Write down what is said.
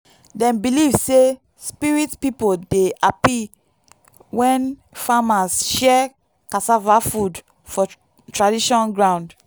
dem believe say spirit people dey happy when farmers share cassava food for tradition ground.